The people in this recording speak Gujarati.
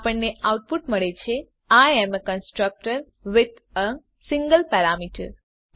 આપણને આઉટપુટ મળે છે I am constructor with a single parameter